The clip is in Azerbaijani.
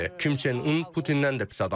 Kim Çen Un Putindən də pis adamdır.